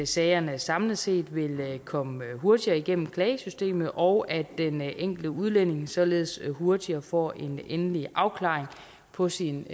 sagerne samlet set vil komme hurtigere igennem klagesystemet og at den enkelte udlænding således hurtigere får en endelig afklaring på sin